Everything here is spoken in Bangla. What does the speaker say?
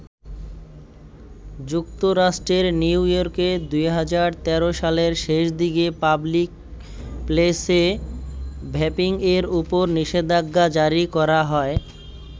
যুক্তরাষ্ট্রের নিউ-ইয়র্কে ২০১৩ সালের শেষ দিকে পাবলিক প্লেসে ভ্যাপিংয়ের উপর নিষেধাজ্ঞা জারি করা হয়।